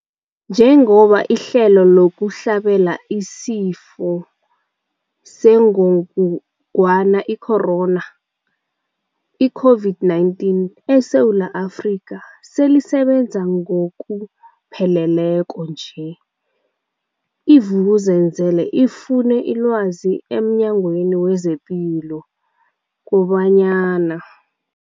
Njengoba ihlelo lokuhlabela isiFo sengogwana i-Corona, i-COVID-19, eSewula Afrika selisebenza ngokupheleleko nje, i-Vuk'uzenzele ifune ilwazi emNyangweni wezePilo kobanyana.